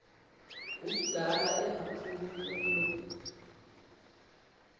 ngumdala engaphumi kulo